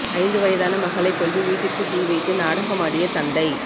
ஐந்து வயதான மகளை கொன்று வீட்டிற்கு தீ வைத்து நாடகமாடிய தந்தை